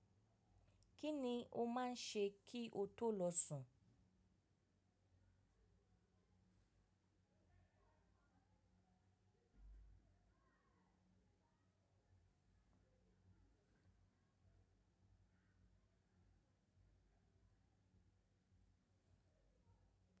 Kí ni o máa ń ṣe kí o tó lọ sùn?